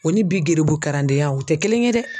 O ni bi geribu karandenya o tɛ kelen ye dɛ.